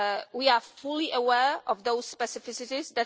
plan. We are fully aware of those specificities.